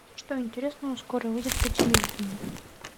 что интересного скоро выйдет по телевидению